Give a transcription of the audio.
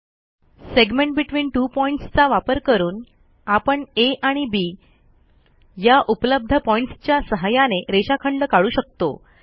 segment between two points चा वापर करून आपण आ आणि Bया उपलब्ध पॉईंट्सच्या सहाय्याने रेषाखंड काढू शकतो